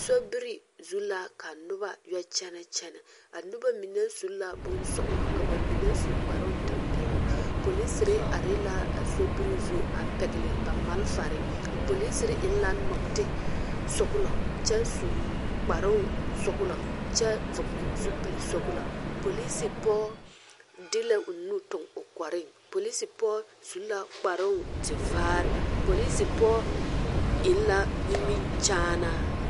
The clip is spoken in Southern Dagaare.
Sobiri zu la ka noba yɔ kyɛnɛ kyɛnɛ a noba mine su la bonsɔɡelɔ ka ba mine su kpartɛmpɛloŋ polisiri are la a sobiri zu a pɛɡele ba malfare a polisiri eŋ la nɔɡetesɔɡelɔ kyɛ su kparoo sɔɡelɔ kyɛ vɔɡele zupili sɔɡelɔ polisi pɔɔ de la o nu tuɡi o kɔreŋ polisi pɔɡe su la kparoo tevaare polisi pɔɡe eŋ la nimikyaanaa.